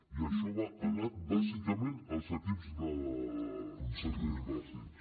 i això ha anat bàsicament als equips de drets bàsics